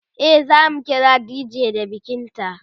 e zamu kira dj da bikin ta